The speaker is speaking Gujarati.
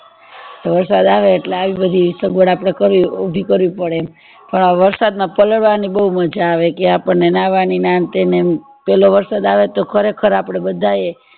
વરસાદ આવે એટલે આવી બાધીં સગવડ આપડેકરવી ઉભી કરચી પાપડે એમ પણ આ વરસાદ માં પલાળવા ની બૌ મજા આવે કે આપણને નાહવા ની કે આને તેને પેલો વરસાદ આવે તો ખરે ખર આપડે બધા એ